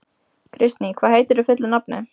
Kristný, hvað heitir þú fullu nafni?